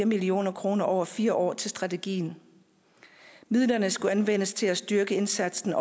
million kroner over fire år til strategien midlerne skulle anvendes til at styrke indsatsen